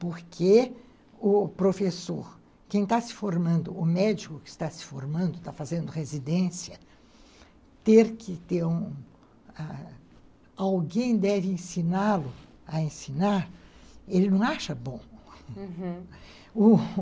Porque o professor, quem está se formando, o médico que está se formando, está fazendo residência, ter que ter um... alguém deve ensiná-lo a ensinar, ele não acha bom, uhum.